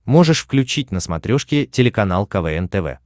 можешь включить на смотрешке телеканал квн тв